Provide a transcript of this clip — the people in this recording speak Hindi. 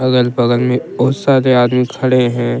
अगल बगल में बहुत सारे आदमी खड़े हैं।